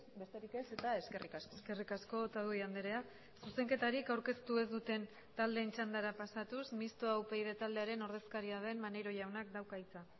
besterik ez eta eskerrik asko eskerrik asko otadui andrea zuzenketarik aurkeztu ez duten taldeen txandara pasatuz mistoa upyd taldearen ordezkaria den maneiro jaunak dauka hitza